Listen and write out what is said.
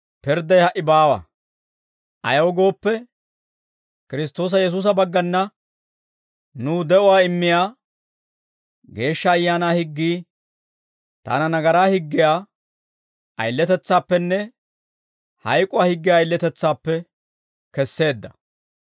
ayaw gooppe, Kiristtoosa Yesuusa baggana nuw de'uwaa immiyaa Geeshsha Ayaanaa higgii taana nagaraa higgiyaa ayiletetsaappenne hayk'uwaa higgiyaa ayiletetsaappe kesseedda.